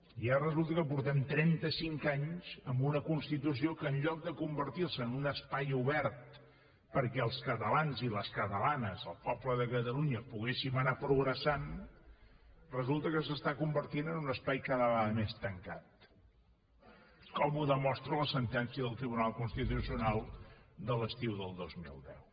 i ara resulta que fa trenta cinc anys que tenim una constitució que en lloc de convertir se en un espai obert perquè els catalans i les catalanes el poble de catalunya poguéssim anar progressant resulta que es converteix en un espai cada vegada més tancat com ho demostra la sentència del tribunal constitucional de l’estiu del dos mil deu